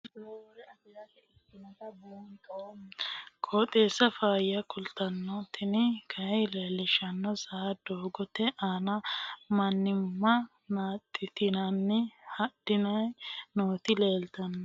kowiicho xuma mtini maa xawissanno yaannohura biifinse haa'noonniti qooxeessano faayya kultanno tini kayi leellishshannori saa doogote aana mannimma naaxxitanni hadhanni nooti leeltanno